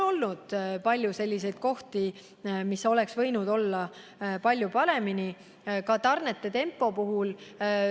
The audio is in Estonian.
On palju selliseid kohti, mis oleks võinud olla paremini, ka tarnete tempo puhul.